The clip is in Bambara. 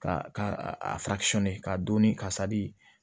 Ka ka a ka don ni ka sadi